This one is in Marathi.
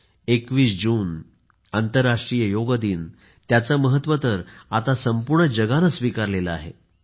21 जून आंतरराष्ट्रीय योग दिनाचे महत्व तर आता संपूर्ण जगाने स्विकारले आहे